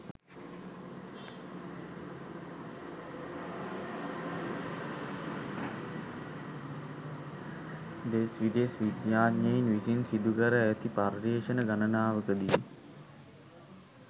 දෙස් විදෙස් විද්‍යාඥයින් විසින් සිදුකර ඇති පර්යේෂණ ගණනාවක දී